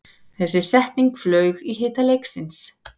Þessi setning flaug í hita leiksins